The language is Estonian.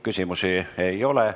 Küsimusi rohkem ei ole.